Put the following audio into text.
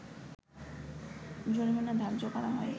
জরিমানা ধার্য করা হয়